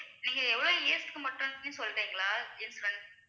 நீங்க எவ்வளவு years க்கு மட்டும் சொல்றீங்களா